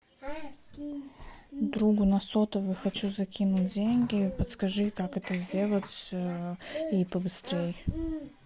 другу на сотовый хочу закинуть деньги подскажи как это сделать и побыстрей